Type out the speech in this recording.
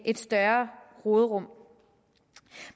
et større råderum